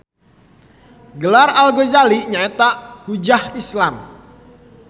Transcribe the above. Gelar Al Gazali nyaeta Hujjah Islam